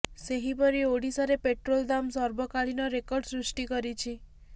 ସେହିପରି ଓଡ଼ିଶାରେ ପେଟ୍ରୋଲ ଦାମ ସର୍ବକାଳୀନ ରେକର୍ଡ ସୃଷ୍ଟି କରିଛି